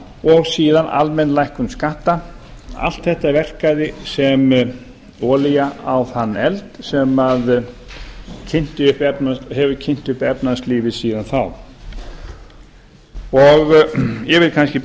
og síðan almenn lækkun skatta allt þetta verkaði sem olía á þann eld sem hefur kynt upp efnahagslífið síðan þá ég vil kannski